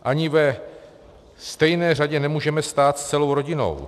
Ani ve stejné řadě nemůžeme stát s celou rodinou.